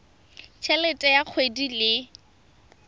t helete ya kgwedi le